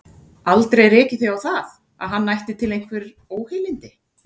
Aldrei rekið þig á það, að hann ætti til einhver óheilindi?